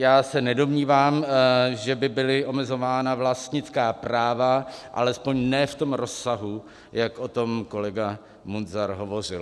Já se nedomnívám, že by byla omezována vlastnická práva, alespoň ne v tom rozsahu, jak o tom kolega Munzar hovořil.